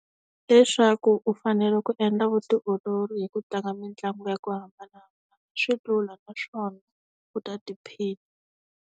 Leswaku u fanele ku endla vutiolori hi ku tlanga mitlangu ya ku hambanahambana. Swi lula naswona, u ta tiphina.